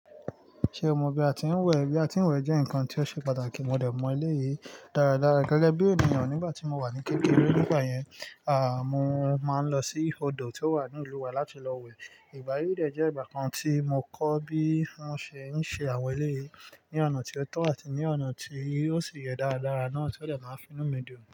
Ṣé o mọ bí a ti ń wẹ̀? Bí a ti ń wẹ̀ jẹ́ nǹkan tí ó ṣe pàtàkì. Mo dẹ̀ mọ ilé yìí dáradára gẹ́gẹ́ bí ènìyàn. Nígbà tí mo wà ní kékeré, nígbà yẹn, mo máa ń lọ sí odò tí ó wà ní ìlú wa láti lọ wẹ̀. Ìgbà yíì dẹ̀ jẹ́ ìgbà kan tí mo kọ́ bí wón ṣe ń ṣe àwọn eleyìí ní ọ̀nà tí ó tọ́ àti ní ọ̀nà tí ó sì yẹ dáradára náà tí ó dẹ̀ máa ń finú mi dùn.